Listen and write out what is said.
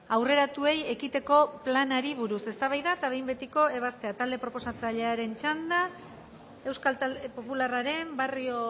aurreratuei ekiteko planari buruz eztabaida eta behin betiko ebaztea talde proposatzailearen txanda euskal talde popularraren barrio